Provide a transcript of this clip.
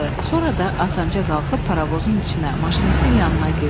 Sonra da asanca qalxıb paravozun içinə, maşinistin yanına girdi.